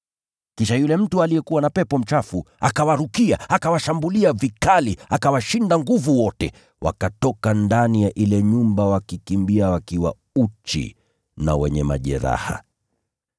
Kisha yule mtu aliyekuwa na pepo mchafu akawarukia, akawashambulia vikali, akawashinda nguvu wote, wakatoka ndani ya ile nyumba wakikimbia wakiwa uchi na wenye majeraha.